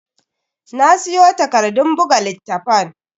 Na siyo takardun buga littafan.